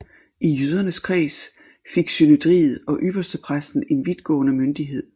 I jødernes kreds fik synedriet og ypperstepræsten en vidtgående myndighed